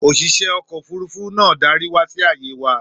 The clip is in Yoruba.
Òṣìṣẹ́ ọkọ̀-òfurufú náà darí wa sí ààyè wa.